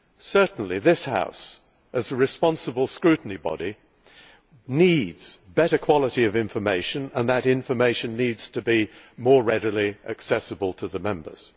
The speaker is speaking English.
Certainly this House, as a responsible scrutiny body, needs better quality information, and that information needs to be more readily accessible to the Members.